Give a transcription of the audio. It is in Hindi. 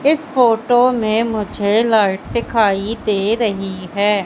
इस फोटो में मुझे लाइट दिखाई दे रही है।